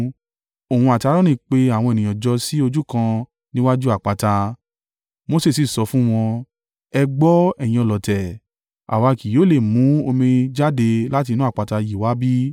Òun àti Aaroni pe àwọn ènìyàn jọ sí ojú kan níwájú àpáta, Mose sì sọ fún wọn, “Ẹ gbọ́, ẹ̀yin ọlọ̀tẹ̀, àwa kì yóò lè mú omi jáde láti inú àpáta yìí wá bí?”